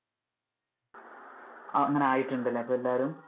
ആ അങ്ങനെ ആയിട്ടുണ്ടല്ലേ ഇപ്പൊ എല്ലാവരും.